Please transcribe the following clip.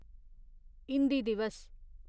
हिंदी दिवस